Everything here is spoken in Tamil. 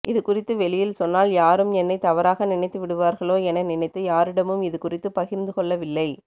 இதுகுறித்து வெளியில் சொன்னால் யாரும் என்னை தவறாக நினைத்துவிடுவார்களோ என நினைத்து யாரிடமும் இதுகுறித்து பகிர்ந்துகொள்ளவில்லை